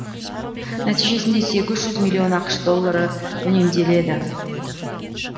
нәтижесінде сегіз жүз миллион ақш доллары үнемделеді